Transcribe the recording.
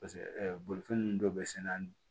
Paseke bolifɛn ninnu dɔ bɛ sɛnɛ an